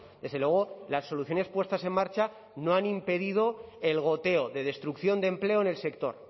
desde luego las soluciones puestas en marcha no han impedido el goteo de destrucción de empleo en el sector